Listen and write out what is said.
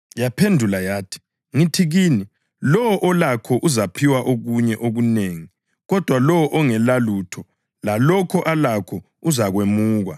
Yaphendula yathi, ‘Ngithi kini, lowo olakho uzaphiwa okunye okunengi kodwa lowo ongelalutho, lalokho alakho uzakwemukwa.